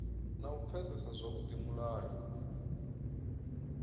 na u pfesesa zwavhudi mulayo